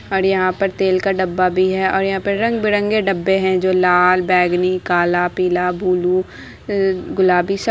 और यहाँ पर तेल का डब्बा भी है और यहाँ पे रंग-बिरंगी डब्बे हैं जो लाल बेंगनी काला पीला बुलु अ गुलाबी सब --